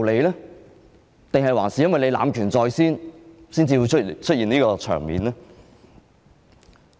還是因為主席濫權在先，才會出現這個場面？